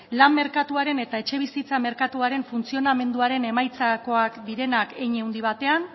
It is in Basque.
lan merkatuaren eta etxebizitza merkatuaren funtzionamenduaren emaitzakoak direnak hein handi batean